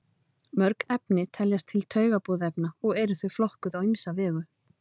mörg efni teljast til taugaboðefna og eru þau flokkuð á ýmsa vegu